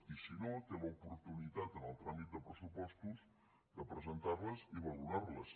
i si no té l’oportunitat en el tràmit de pressupostos de presentar les i valorar les